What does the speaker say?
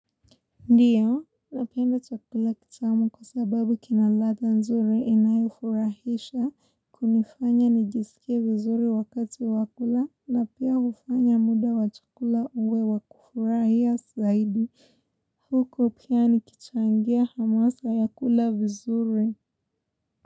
Ndio, napenda chakula kitamu kwa sababu kina ladha nzuri inayofurahisha, kunifanya nijisikie vizuri wakati wa kula na pia hufanya muda wa chakula uwe wakufurahia zaidi. Huko pia nikichangia hamasa ya kula vizuri.